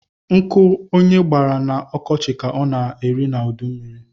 Nkụ onye gbara na ọkọchi ka ọ na-aṅa n’udummiri